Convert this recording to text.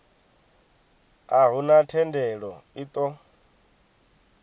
a huna thendelo i ṱo